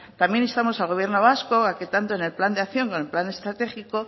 también instamos al gobierno vasco a que tanto en el plan de acción o en el plan estratégico